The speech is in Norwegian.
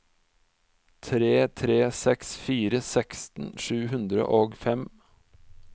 tre tre seks fire seksten sju hundre og fem